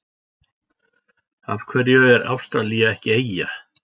Af hverju er Ástralía ekki eyja?